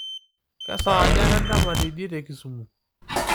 kesaaja endama teidie tekisumu